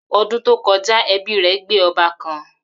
Odun to koja, ebi re gbe oba kan